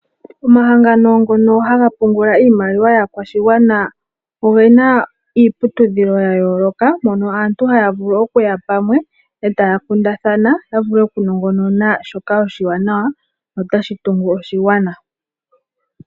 Omahangano ngono haga pungula iimaliwa yaakwashigwana ogena iiputudhilo yayooloka, mono aantu haya vulu okuya pamwe etaya kundathana ya vule okunongonona shoka oshiwanawa no tashi tungu oshigwana.